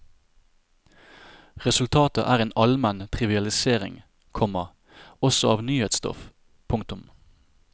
Resultatet er en allmenn trivialisering, komma også av nyhetsstoff. punktum